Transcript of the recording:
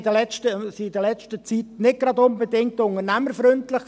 Wir waren in der letzten Zeit im Kanton Bern nicht unbedingt unternehmerfreundlich.